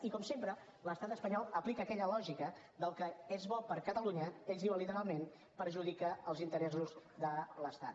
i com sempre l’estat espanyol aplica aquella lògica d’ el que és bo per a catalunya ells ho diuen literalment perjudica els interessos de l’estat